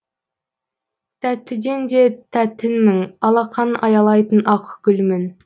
тәттіден де тәттіңмін алақаның аялайтын ақ гүлмін